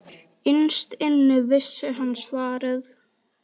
Innst inni vissi hann svarið.